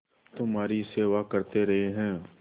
तुम्हारी सेवा करते रहे हैं